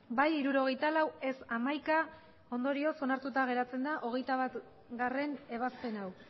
bai hirurogeita lau ez hamaika ondorioz onartuta geratzen da hogeita batgarrena ebazpen hau